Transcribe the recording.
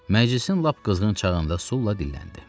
Məclisin lap qızğın çağında Sula dilləndi.